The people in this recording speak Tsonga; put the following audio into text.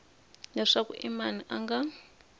leswaku i mani a nga